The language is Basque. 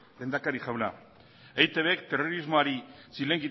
lehendakari jauna eitbk terrorismoari